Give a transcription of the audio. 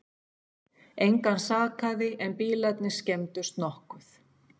Engan sakaði en bílarnir skemmdust nokkuð